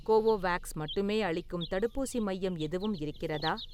Covovax மட்டுமே அளிக்கும் தடுப்பூசி மையம் எதுவும் இருக்கிறதா?